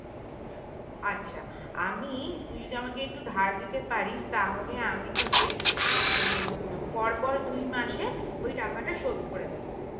আচ্ছা আমি তুই যদি আমাকে একটু ধার দিতে পারিস তাহলে আমি তোকে উম পর পর দুই মাসে ওই টাকাটা শোধ করে দেব